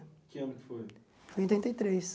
Que ano que foi? Foi em oitenta e três